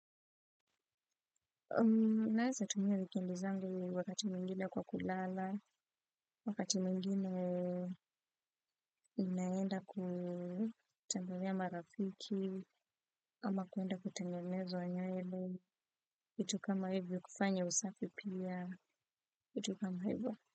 Naeza tumia wikendi zangu wakati mwingine kwa kulala, wakati mwingine naenda kutembelea marafiki, ama kuenda kutengonezwa nywele, vitu kama hivyo kufanya usafi pia, vitu kama hivyo.